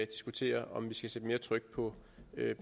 diskuterer om vi skal sætte mere tryk på